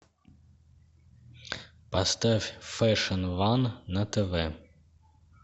поставь фэшн ван на тв